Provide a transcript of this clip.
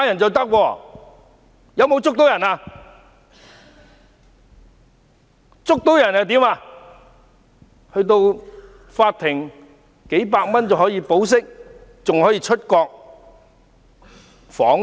這些人在法庭上花數百元便可以保釋，還可以出國訪問。